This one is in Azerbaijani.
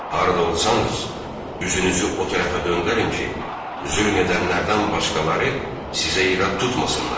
Harda olsanız, üzünüzü o tərəfə döndərin ki, zülm edənlərdən başqaları sizə irad tutmasınlar.